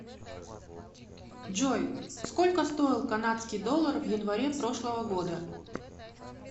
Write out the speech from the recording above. джой сколько стоил канадский доллар в январе прошлого года